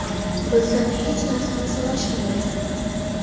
Bizdan hech narsani so‘rashmaydi.